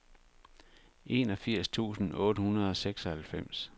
enogfirs tusind otte hundrede og seksoghalvfems